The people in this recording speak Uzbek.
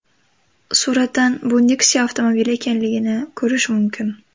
Suratdan bu Nexia avtomobili ekanligini ko‘rish mumkin.